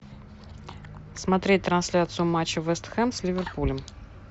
смотреть трансляцию матча вест хэм с ливерпулем